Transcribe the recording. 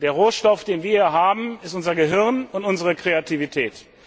Der Rohstoff, den wir hier haben, ist unser Gehirn und unsere Kreativität.